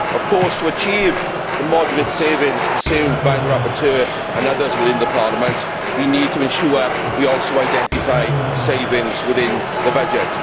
Of course, to achieve the moderate savings pursued by the rapporteur and others within the Parliament, we need to ensure we also identify savings within the budget.